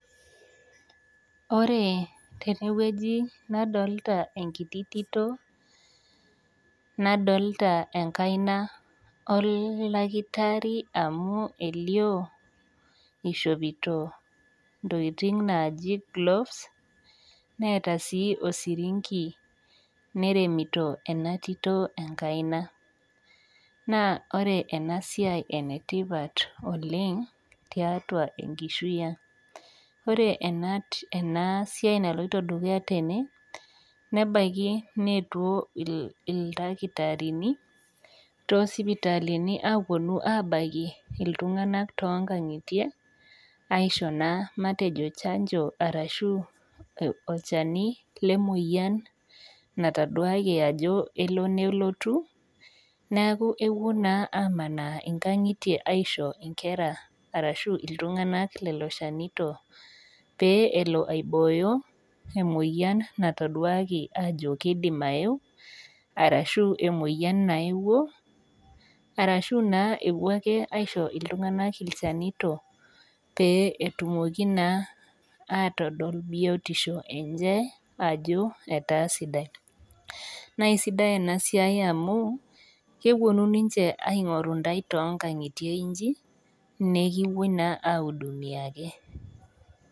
Ore tenewueji nadolta enkiti tito nadolta enkaina oldakitari amu elio ishopito ntokitin naji gloves neeta sii osirinki neremito enatito enkaina , naa ore enasia naa enetipat oleng tiatua enkishui ang . Ore enasiai natii ene nebaiki neetuo ildakitarini tosipitalini aponu abaiki iltunganak tonkaingitie aisho naa matejo chanjo arashu olchani lemoyiani nataduaki ajo elo nelotu neku epuo naa amanaa nkangitie aisho nkera ashu iltunganak lelo shanito pee elo aibooyo emoyiani nataduaki ajo kidim aeu arashu emoyian naeuo arashu epuo ake aisho iltunganak ilchanito pee etumoki naa atodol biotisho enye ajo etaa sidai . Naa isidai inasiai amu keponu ninche aingoru intae toonkangitie inji nekipuoi naa aihudumiaki.